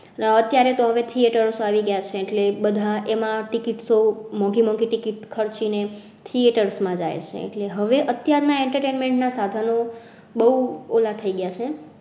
આહ અત્યારે તો હવે theatres આવી ગયા છે એટલે બધા એમાં ticket મોંઘી ticket ખર્ચી ને theaters માં જાય છે. એટલે હવે અત્યાર ના entertainment ના સાધનો બોઓલા થઇ ગયા છે.